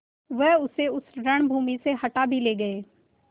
वह उसे उस रणभूमि से हटा भी ले गये